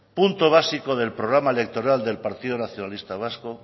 punto básico del programa electoral del partido nacionalista vasco